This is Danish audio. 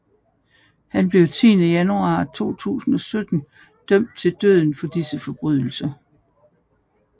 Han blev den 10 januar 2017 dømt til døden for disse forbrydelser